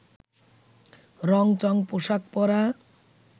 রং চঙ পোশাক পরা